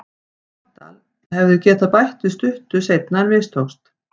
Sogndal hefðu getað bætt við stuttu seinna en mistókst.